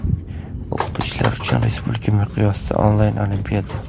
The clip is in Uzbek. O‘qituvchilar uchun respublika miqyosida onlayn olimpiada.